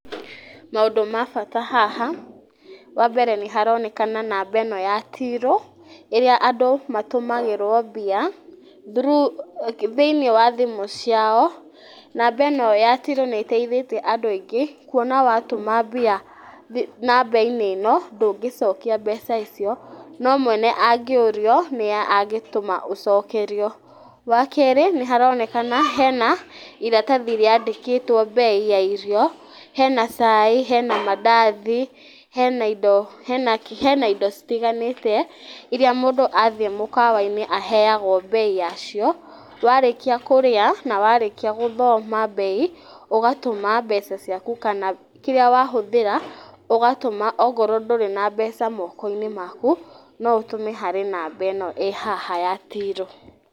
Maũndũ ma bata haha, wambere nĩ haroneka namba ĩno ya tirũ, ĩrĩa andũ matũmagĩrwo mbia thĩini wa thimũ ciao. Namba ĩno ya tirũ nĩ ĩteithĩtie andũ aingĩ, kuona watũma mbia nambainĩ ĩno, ndũngĩcokia mbeca icio, no mwene angĩũrio nĩwe angĩtũma ũcokerio. Wa kerĩ nĩharonekana hena ĩratathi rĩandĩkĩtwo mbei ya irio. Hena cai, hena mandathi, hena indo citiganĩte iria mũndũ athiĩ mukawainĩ aheagwo mbei ya cio. Warĩkĩa kũrĩa na warĩkia gũthoma mbei, ũgatũma mbeca ciaku, kana kĩrĩa wahũthĩra ũgatũma okorwo ndũrĩ na mbeca mokoinĩ maku, no ũtũme na namba ĩno ĩ haha ya tirũ.